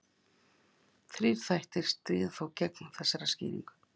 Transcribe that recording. Þrír þættir stríða þó gegn þessari skýringu.